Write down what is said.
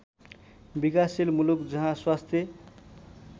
विकासशील मुलुक जहाँ स्वास्थ